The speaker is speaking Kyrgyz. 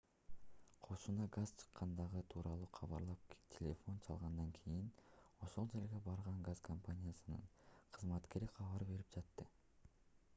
кошуна газ чыккандыгы тууралуу кабарлап телефон чалгандан кийин ошол жерге барган газ компаниясынын кызматкери кабар берип жатты